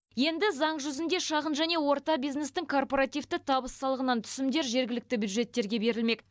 енді заң жүзінде шағын және орта бизнестің корпоративті табыс салығынан түсімдер жергілікті бюджеттерге берілмек